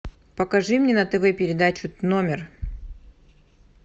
покажи мне на тв передачу номер